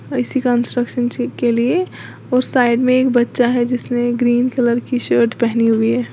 इसी कंस्ट्रक्शनशिप के लिए और साइड में एक बच्चा है जिसने ग्रीन कलर की शर्ट पहनी हुई है।